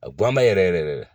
A bɔ an ba yɛrɛ yɛrɛ yɛrɛ